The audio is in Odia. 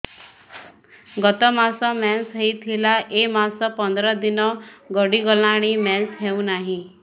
ଗତ ମାସ ମେନ୍ସ ହେଇଥିଲା ଏ ମାସ ପନ୍ଦର ଦିନ ଗଡିଗଲାଣି ମେନ୍ସ ହେଉନାହିଁ